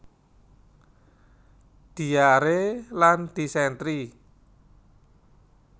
Diare lan disentri